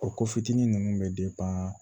O ko fitinin nunnu bɛ